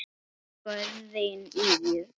Guðrún Ýr.